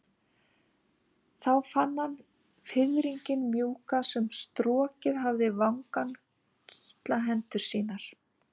Þá fann hann fiðringinn mjúka sem strokið hafði vangann kitla hendur sínar.